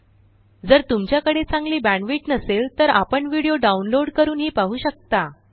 जर तुमच्याकडे चांगली बॅण्डविड्थ नसेल तर व्हिडीओ डाउनलोड करूनही पाहू शकता